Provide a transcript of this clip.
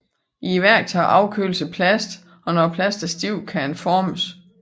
I værktøjet afkøles plasten og når plasten er stiv kan den afformes